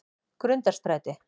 Grundarstræti